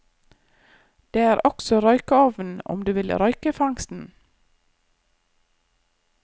Det er også røykeovn om du vil røyke fangsten.